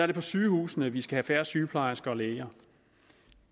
det på sygehusene vi skal have færre sygeplejersker og læger